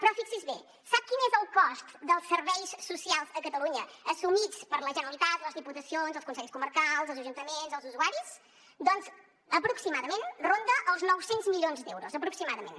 però fixi’s bé sap quin és el cost dels serveis socials a catalunya assumits per la generalitat les diputacions els consells comarcals els ajuntaments els usuaris doncs aproximadament ronda els nou cents milions d’euros aproximadament